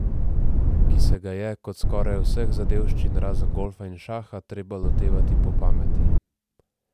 Ki se ga je, kot skoraj vseh zadevščin, razen golfa in šaha, treba lotevati po pameti.